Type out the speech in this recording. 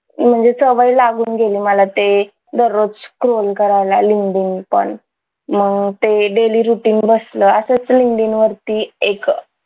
म्हणजे सवय लागून गेली मला ते दररोज scroll करायला linkedin पण मग ते daily routine बसलं असच linkedin वरती एक